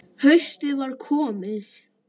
Haustið var komið.